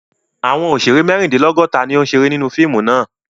Àwọn òṣèrè mẹ́rindínlọ́gọ̀ta ni ó ń ṣeré nínú fíìmù náà.